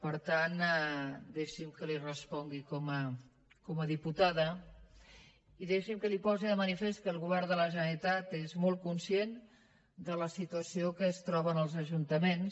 per tant deixi’m que li respongui com a diputada i deixi’m que li posi de manifest que el govern de la generalitat és molt conscient de la situació en què es troben els ajuntaments